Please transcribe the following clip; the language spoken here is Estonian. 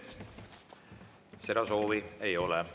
Seda soovi ei ole.